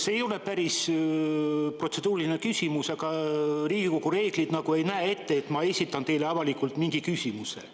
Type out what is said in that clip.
See ei ole päris protseduuriline küsimus, aga Riigikogu reeglid ei näe ette, et ma saan esitada teile avalikult mingi küsimuse.